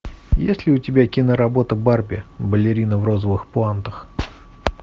есть ли у тебя киноработа барби балерина в розовых пуантах